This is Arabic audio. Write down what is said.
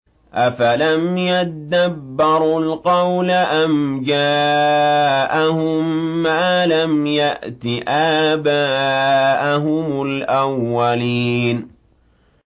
أَفَلَمْ يَدَّبَّرُوا الْقَوْلَ أَمْ جَاءَهُم مَّا لَمْ يَأْتِ آبَاءَهُمُ الْأَوَّلِينَ